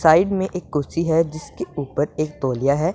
Side मे एक कुर्सी है जिसके उपर एक तौलिया है।